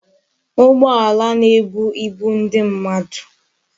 Ugboala na-ebu ibu ndi mmadu